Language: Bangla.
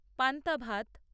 পান্তা ভাত